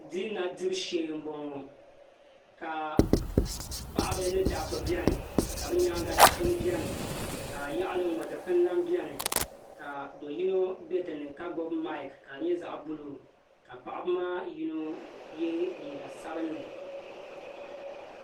Diina dibu shee n boŋo ka paɣaba ni dabba biɛni ka bi nyaanga dikpuni biɛni ka yaɣali n ŋo dikpuni lahi biɛni ka do yino bɛ dinni ka gbubi maik ka di nyɛ zaɣ buluu ka paɣaba maa yino yɛ liiga sabinli